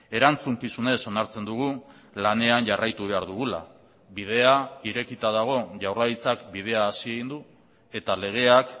erantzukizunez onartzen dugu lanean jarraitu behar dugula bidea irekita dago jaurlaritzak bidea hasi egin du eta legeak